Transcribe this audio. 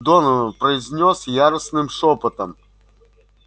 донован произнёс яростным шёпотом